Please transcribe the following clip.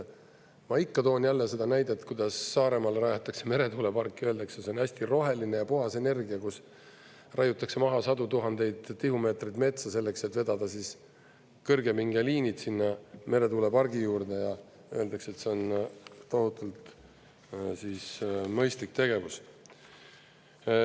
Ma ikka toon jälle seda näidet, kuidas Saaremaale rajatakse meretuuleparki ja öeldakse, et see on hästi roheline ja puhas energia, kus raiutakse maha sadu tuhandeid tihumeetrit metsa selleks, et vedada kõrgepingeliinid sinna meretuulepargi juurde, ja öeldakse, et see on tohutult mõistlik tegevus.